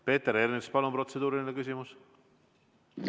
Peeter Ernits, palun, protseduuriline küsimus!